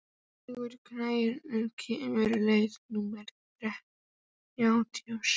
Hængur, hvenær kemur leið númer þrjátíu og sjö?